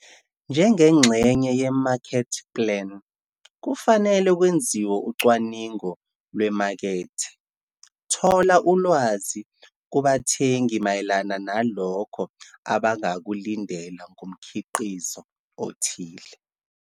Njengengxenye ye-market plan, kufanele kwenziwe ucwaningo lwemakethe - thola ulwazi kubathengi mayelana nalokho abangakulindela ngomkhiqizo othile.